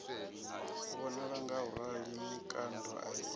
vhonala ngauralo mikando a i